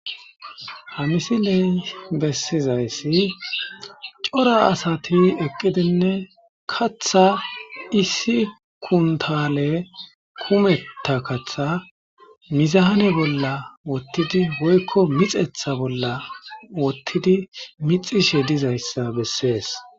hamisiley bessizayssi cora asati eqqidinne katha issi kuntale kumetta katha mizaane bolla wottidi woykko mixetha bolla wottidi mixishe dizayssa bessees